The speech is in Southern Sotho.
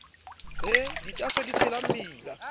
re ditaaso di tshela mmila